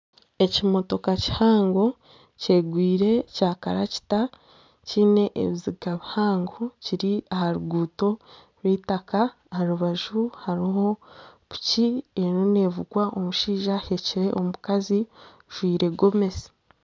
Ekimotoka kihango kyegwire kya kalakita kiine ebiziga bihango kiri aharuguuto rw'eitaka aharubaju hariho piki erimu nevugwa omushaija aheekire omukazi ajwaire gomesi.